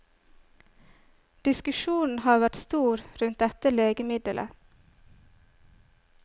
Diskusjonen har vært stor rundt dette legemiddelet.